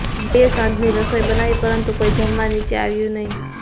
બાઈએ સાંજની રસોઈ બનાવી પરંતુ કોઈ જમવા નીચે આવ્યું નહીં